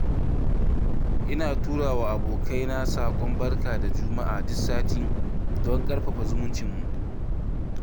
Ina turawa abokaina saƙon barka da juma'a duk sati don ƙarfafa zumuncinmu.